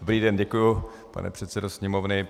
Dobrý den, děkuji, pane předsedo Sněmovny.